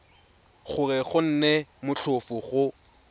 gore go nne motlhofo go